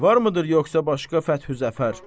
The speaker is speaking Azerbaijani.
Varmıdır yoxsa başqa fəthü zəfər?